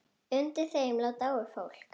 Undir þeim lá dáið fólk.